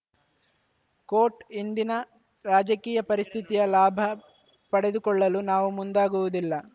coat ಇಂದಿನ ರಾಜಕೀಯ ಪರಿಸ್ಥಿತಿಯ ಲಾಭ ಪಡೆದುಕೊಳ್ಳಲು ನಾವು ಮುಂದಾಗುವುದಿಲ್ಲ